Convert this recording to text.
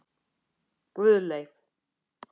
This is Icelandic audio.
Guðleif